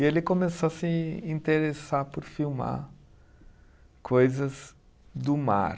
E ele começou a se interessar por filmar coisas do mar.